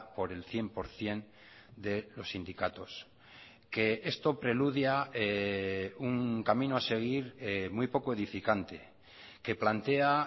por el cien por ciento de los sindicatos que esto preludia un camino a seguir muy poco edificante que plantea